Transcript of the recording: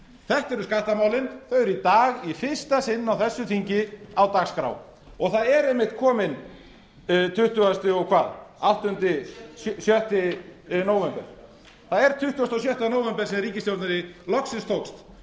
þetta eru skattamálin þau eru í dag í fyrsta sinn á þessu þingi á dagskrá og það er einmitt kominn tuttugasta og sjötta nóvember það er tuttugasti og sjötta nóvember sem ríkisstjórninni loksins tókst